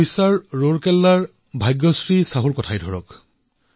ওড়িশাৰ ৰুড়কেল্লাৰ ভাগ্যশ্ৰী চাহুকেই চাওক